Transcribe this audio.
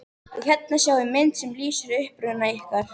Og hérna sjáiði mynd sem lýsir uppruna ykkar.